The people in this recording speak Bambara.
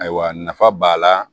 Ayiwa nafa b'a la